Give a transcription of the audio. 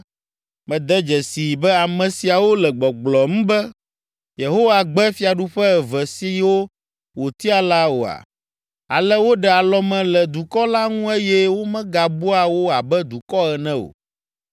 “Mède dzesii be ame siawo le gbɔgblɔm be, ‘Yehowa gbe fiaɖuƒe eve siwo wòtia’ la oa? Ale woɖe alɔme le dukɔ la ŋu eye womegabua wo abe dukɔ ene o.